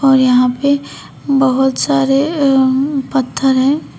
और यहां पे बहोत सारे अ अ पत्थर है।